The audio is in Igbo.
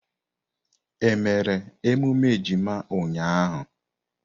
Emere emume ejima ụnyaahụ?